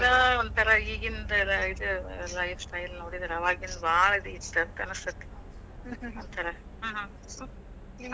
ಏನೋ ಒಂದಥರಾ ಈಗಿಂತರ ಇ~ ಇದ್ life style ನೋಡಿದ್ರ ಅವಾಗಿಂದ್ ಭಾಳ್ best ಅಂತ ಅನಸ್ತೈತಿ. ಹ್ಮ್ ಹ್ಮ್ ಅದ